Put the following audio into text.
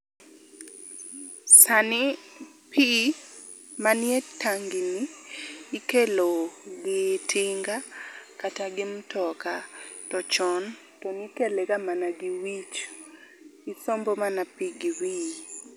Sani pii manie tangi ni ikelo gi tinga kata gi mtoka to chon tonikelega mana gi wich ,isombo mana pii gi wiyi